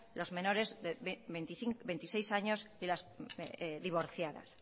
los menores de veintiséis años y las divorciadas